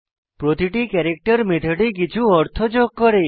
প্রতিটি ক্যারেক্টার মেথডে কিছু অর্থ যোগ করে